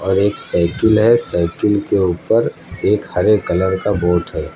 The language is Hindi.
एक साइकिल है साइकिल के ऊपर एक हरे कलर का बोट है।